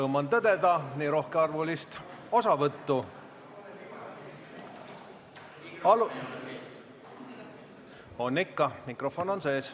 Rõõm on tõdeda nii rohkearvulist osavõttu.